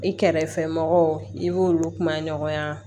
I kɛrɛfɛ mɔgɔw i b'olu kuma ɲɔgɔnya